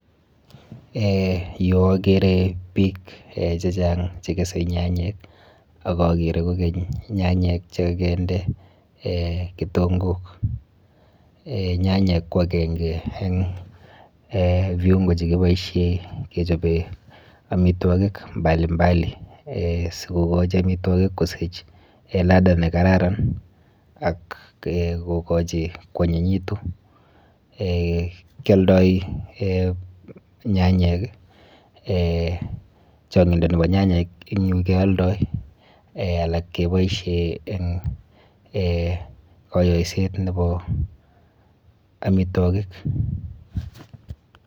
Eh yu akere biik eh chechang chekese nyanyek ak akere kokeny nyanyek chekakinde eh kitonkok. Eh nyanyek ko akenke eng viungo chekiboishe kechope amitwokik mbali mbali sikokochi amitwokik kosich ladha nekararan ak kokochi koanyinyitu. Eh kialdoi nyanyek, eh chang'indo nepo nyanyek ing yu kealdoi. Eh alak keboishe eng eh kayoiset nepo amitwokik.